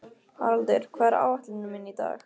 Haraldur, hvað er á áætluninni minni í dag?